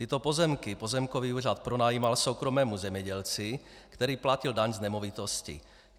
Tyto pozemky pozemkový úřad pronajímal soukromému zemědělci, který platil daň z nemovitosti.